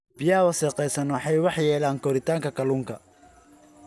Biyaha wasakhaysan waxay waxyeeleeyaan koritaanka kalluunka.